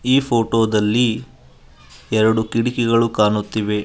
ಈ ಫೋಟೋದಲ್ಲಿ ಎರಡು ಕಿಟಕಿಗಳು ಕಾಣುತ್ತಿವೆ.